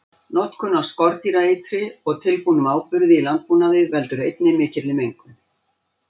Notkun á skordýraeitri og tilbúnum áburði í landbúnaði veldur einnig mikilli mengun.